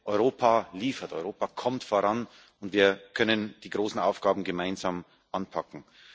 Europa liefert, Europa kommt voran, und wir können die großen Aufgaben gemeinsam anpacken.